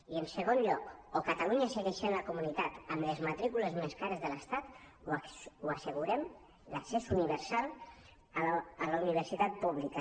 i en segon lloc o catalunya segueix sent la comunitat amb les matrícules més cares de l’estat o assegurem l’accés universal a la universitat pública